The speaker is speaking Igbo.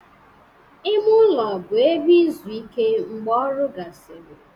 Ime ụlọ bụ ebe izu ike mgbe ọrụ gasịrị